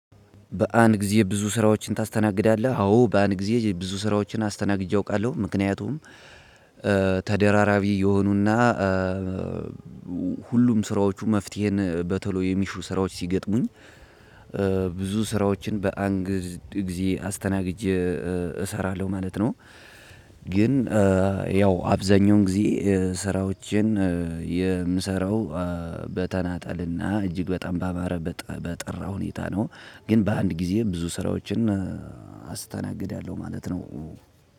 በአንድ ጊዜ ብዙ ስራዎችን ታስተናግዳለህ? አዎ በአንድ ጊዜ ብዙ ስራዎችን አስተናግጄ አውቃለሁ። ምክንያቱም ተደራራቢ የሆኑና ሁሉም ስራዎቹ መፍትሄን በቶሎ የሚሹ ስራዎች ሲገጥሙኝ- ብዙ ስራዎችን በአንድ ጊዜ አስተናግጀ እሰራለሁ ማለት ነው። ግን- ያው አብዛኛውን ጊዜ ስራዎችን የምሰራው በተናጠልና እጅግ በጣም ባማረ በጠራ ሁኔታ ነው። ግን በአንድ ጊዜ ብዙ ስራዎችን አስተናግዳለሁ ማለት ነው።